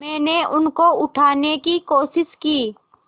मैंने उनको उठाने की कोशिश की